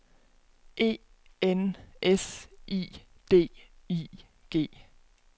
E N S I D I G